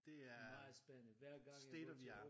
Det er state of the art